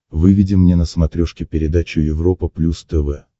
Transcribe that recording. выведи мне на смотрешке передачу европа плюс тв